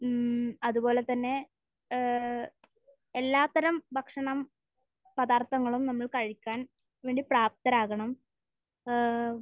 മ്മ്. അത്പോലെ തന്നെ ഏഹ് എല്ലാ തരം ഭക്ഷണപദാർത്ഥങ്ങളും നമ്മൾ കഴിക്കാൻ വേണ്ടി പ്രാപ്തരാകണം. ഏഹ്